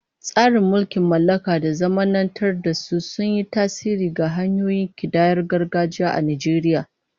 Tasirin mulkin mallaka da zamanantar da su sun yi tasiri ga hanyoyin kidayar gargajiya a Najeriya.